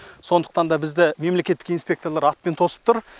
сондықтан да бізді мемлекеттік инспекторлар атпен тосып тұр